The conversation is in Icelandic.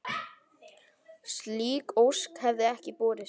Slík ósk hefði ekki borist.